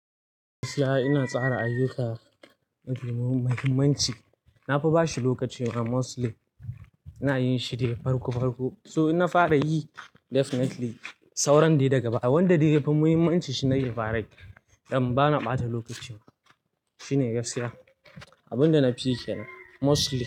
Ina tsara ayyuka mafi muhimmanci, nafi bashi lokaci. Ina mostly yana yin shi dai farko farko. So in na fara yi definitely sauran dai daga baya wanda dai yafi muhimmanci shine na yi fa rai don bana ɓata lokacin. Shi ne gaskiya. Abin da na fi kiyane mostly.